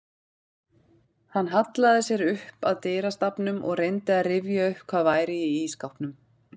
Hann hallaði sér upp að dyrastafnum og reyndi að rifja upp hvað væri í ísskápnum.